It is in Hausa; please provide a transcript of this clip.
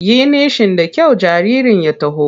Yi nishi da kyau jaririn ya taho!